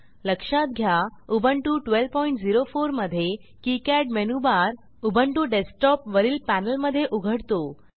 लक्षात घ्या उबुंटू 1204 मधे किकाड मेनूबार उबुंटू डेस्कटॉप वरील पॅनेलमधे उघडतो